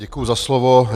Děkuji za slovo.